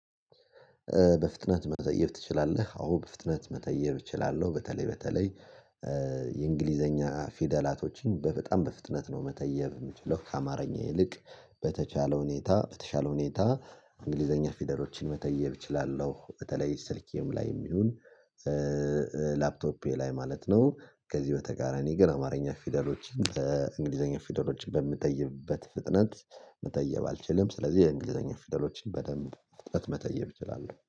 በፍጥነት መተየብ ትችላለህ? አዎ በፍጥነት መተየብ እችላለሁ። በተለይ በተለይ የእንግሊዘኛ ፊደላቶችን በጣም በፍጥነት ነው መተየብ የምችለው። ከአማርኛ ይልቅ በተቻለው ሁኔታ በተቻለው ሁኔታ እንግሊዘኛ ፊደሮችን መተየብ እችላለሁ። በተለይ ስልኬም ላይ የሚሉን ላይ ማለት ነው። ከዚህ በተጋራኒ ግን አማርኛ ፊደሎችን በእንግሊዘኛ ፊደሎች በምትጠይብበት ፍጥነት መተየብ አልችልም። ስለዚህ የእንግሊዘኛ ፊደሎች በደንብ ፍጥነት መተየብ እችላለሁ